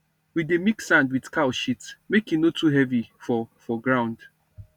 we dey mix sand with cow shit make e no too heavy for for ground